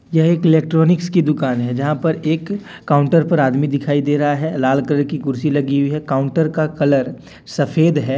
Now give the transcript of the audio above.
यह एक इलेक्ट्रॉनिक्स की दुकान है जहां पर एक काउंटर पर आदमी दिखाई दे रहा है लाल कलर की कुर्सी लगी हुई है काउंटर का कलर सफेद है।